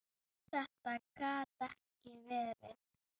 Þetta gat ekki verið!